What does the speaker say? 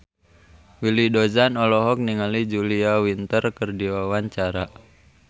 Willy Dozan olohok ningali Julia Winter keur diwawancara